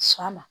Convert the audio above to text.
Sɔn ma